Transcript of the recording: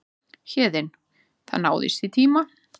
Héðinn: Það náðist í tíma?